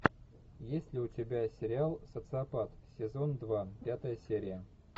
есть ли у тебя сериал социопат сезон два пятая серия